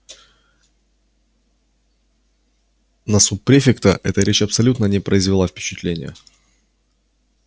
на суб-префекта эта речь абсолютно не произвела впечатления